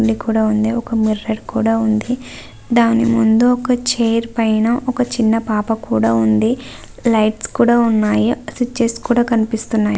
పూల కుండి కూడా ఉంది ఒక మిర్రర్ కూడా ఉంది. దాని ముందు ఒక చైర్ పైన ఒక చిన్న పాప కూడా ఉంది. లైట్స్ కూడా ఉన్నాయి. స్విచ్స్ కూడ కనిపిస్తున్నాయ్.